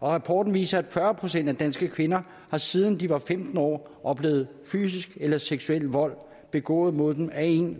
og rapporten viser at fyrre procent af danske kvinder har siden de var femten år oplevet fysisk eller seksuel vold begået mod dem af en